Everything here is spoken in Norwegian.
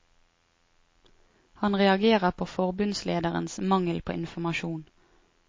Han reagerer på forbundslederens mangel på informasjon.